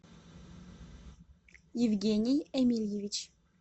евгений эмильевич